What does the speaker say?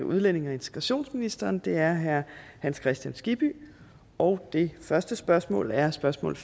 udlændinge og integrationsministeren er herre hans kristian skibby og det første spørgsmål er spørgsmål